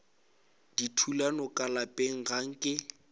dithulano ka lapeng ga nke